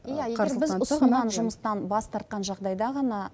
иә егер біз ұсынған жұмыстан бас тартқан жағдайда ғана